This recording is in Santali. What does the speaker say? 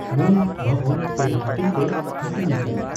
ᱢᱩᱞ ᱵᱷᱚᱵᱚᱱ ᱯᱮ ᱦᱟᱴᱤᱧᱛᱮ ᱦᱟᱹᱴᱤᱧ ᱟᱠᱟᱠᱟᱱᱟᱺ